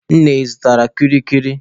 Nne, ị zụtara m kwili kwili?